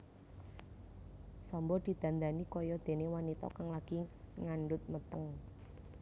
Samba didandani kaya dene wanita kang lagi ngandhut meteng